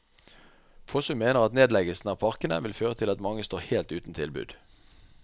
Fossum mener at nedleggelse av parkene vil føre til at mange står helt uten tilbud.